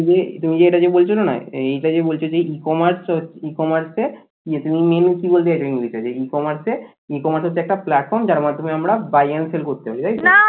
তুমি যেটা যে বলছো না এইটা যে বলছো যে ecommerce ecommerce ইয়ে তুমি menu কি বলছো এটা কি বলতে চাইছো ecommerce ecommerce হচ্ছে একটা platform যার মাধ্যমে আমরা buy and sell করতে পারি তাই তো?